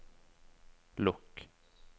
lukk